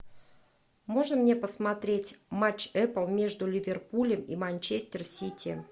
можно мне посмотреть матч апл между ливерпулем и манчестер сити